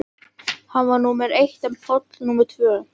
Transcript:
Hann var númer eitt en Páll númer tvö.